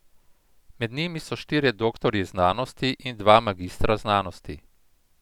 Med njimi so štirje doktorji znanosti in dva magistra znanosti.